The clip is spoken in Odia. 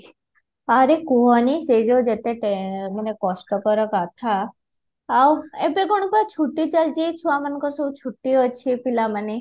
ଆରେ କୁହନି ସେ ଯୋଉ ଯେତେ ମାନେ କଷ୍ଟକର କଥା ଆଉ ଏବେ କଣ ବା ଛୁଟି ଚାଲିଛି ଏ ଛୁଆ ମାନଙ୍କର ସବୁ ଛୁଟି ଅଛି ଏ ପିଲାମାନେ